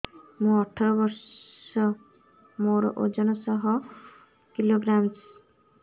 ମୁଁ ଅଠର ବର୍ଷ ମୋର ଓଜନ ଶହ କିଲୋଗ୍ରାମସ